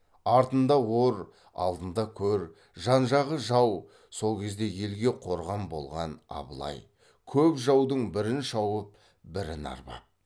артында ор алдында көр жан жағы жау сол кезде елге қорған болған абылай көп жаудың бірін шауып бірін арбап